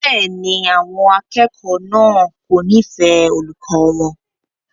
Bẹ́ẹ̀ni, àwọn akẹ́kọ̀ọ́ náà kò nífẹ̀ẹ́ olùkọ́ wọn.